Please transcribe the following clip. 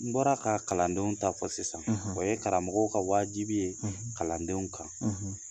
N bɔra ka kalandenw ta fɔ sisan o ye karamɔgɔw ka wajibi ye kalandenw kan